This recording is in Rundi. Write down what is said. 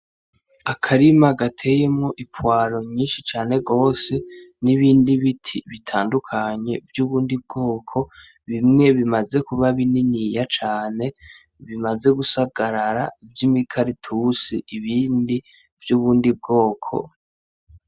Akarima gateyemwo ipwaro nyinshi cane gose nibindi biti bitandukanye vyubundi bwoko bimwe bimaze kuba bininiya cane bimaze gusagarara vy'imikaratusi ibindi vyubundi bwoko.